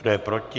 Kdo je proti?